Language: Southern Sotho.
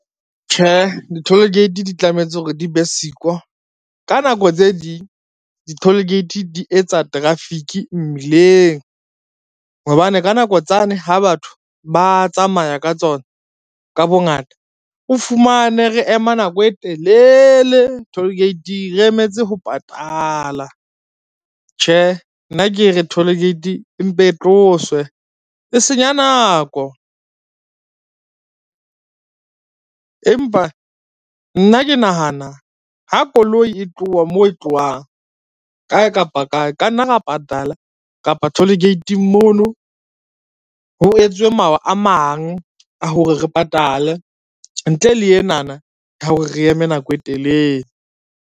Tjhe di-toll gate di tlamehetse hore di be siko, ka nako tse ding di-toll gate di etsa traffic mmileng, hobane ka nako tsane ha batho ba tsamaya ka tsona ka bongata, o fumane re ema nako e telele toll gate-ing re emetse ho patala. Tjhe nna ke re toll gate, empe e tloswe e senya nako, empa nna ke nahana ha koloi e tloha moo e tlohang kae kapa kae, ka nna ra patala kapa toll gate-ing mono ho etswe mawa a mang a hore re patale ntle le enana ya hore re eme nako e telele.